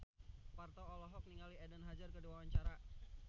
Parto olohok ningali Eden Hazard keur diwawancara